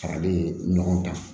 Farali ɲɔgɔn kan